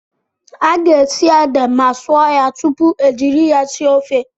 A ga-esi ede ma sụọ ya tupu ejiri ya sie ofe.